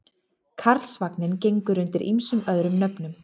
Karlsvagninn gengur undir ýmsum öðrum nöfnum.